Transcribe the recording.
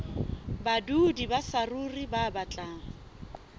badudi ba saruri ba batlang